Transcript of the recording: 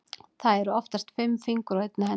Það eru oftast fimm fingur á einni hendi.